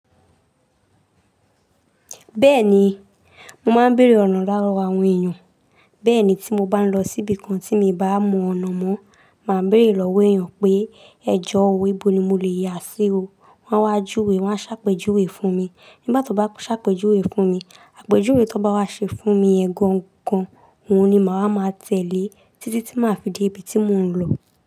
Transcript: Bẹ́ẹ̀ni, mo máa ń bèrè ọ̀nà lowo àwọn èèyàn. Bẹ́ẹ̀ ni tí mo bá lọ síbi kan tí mo bá mọ ọ̀nà mọ́, màá bèerè lọ́wọ́ èèyàn pé ẹ̀jọ́ òna bó ni mo lè yà sí o. Wọ́n á wá júwe, wọ́n á ṣàpèjúwe fún mi. Nígbà tí wọ́n bá ṣàpèjúwe fún mi, àpèjúwe tó bá wá ṣe fún mi ẹ̀gàn gan-an, òun ni màá máa tẹ̀lé títí tí màá fi dé ibi tí mò ń lọ.